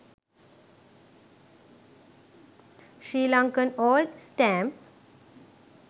srilankan old stamp